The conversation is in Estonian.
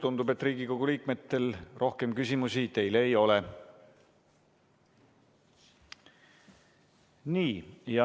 Tundub, et Riigikogu liikmetel rohkem küsimusi teile ei ole.